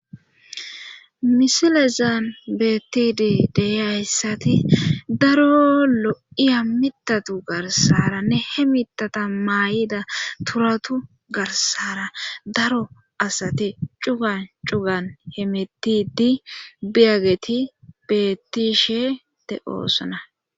Misilezaan beettidi deyiyayssati daro lo7iya mitatu garsara nehe mitata maa7ida turatu garsara daro asati cugan cugan hemetidi biyageti beettishe de oosona.